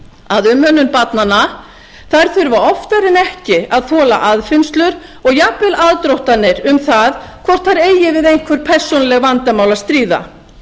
að umönnun barnanna þurfa oftar en ekki að þola aðfinnslur og jafnvel aðdróttanir um það hvort þær eigi við einhver persónuleg vandamál að stríða